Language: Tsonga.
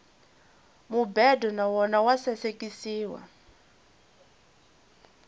mubedo na wona wa sasekisiwa